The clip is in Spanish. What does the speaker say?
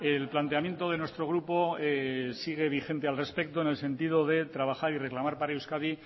el planteamiento de nuestro grupo sigue vigente al respecto en el sentido de trabajar y reclamar para euskadi